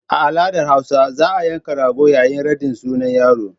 A al'adar hausa za a yanka rago yayin raɗin sunan yaro.